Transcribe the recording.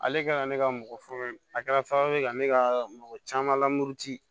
Ale kɛra ne ka mɔgɔ fɔlɔ ye a kɛra sababu ye ka ne ka mɔgɔ caman lamuru ci